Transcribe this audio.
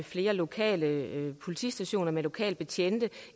flere lokale politistationer med lokale betjente